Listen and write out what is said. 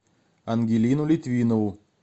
ангелину литвинову